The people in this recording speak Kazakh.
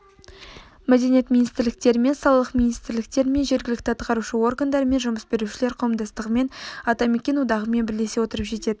мәдениет министрліктерімен салалық министрліктерімен жергілікті атқарушы органдармен жұмыс берушілер қауымдастығымен атамекен одағымен бірлесе отырып жететін